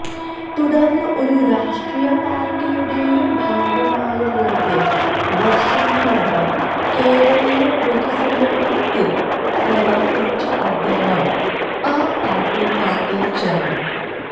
തുടര്ന്ന് ഒരു രാഷ്ട്രീയ പാര്ട്ടിയുടേയും ഭാഗമായല്ലാതെ വര്ഷങ്ങളോളം കേരളീയ പൊതുസമൂഹത്തില് പ്രവര്ത്തിച്ച അദ്ദേഹം ആം ആദ്മി പാര്ട്ടിയില് ചേര്ന്നു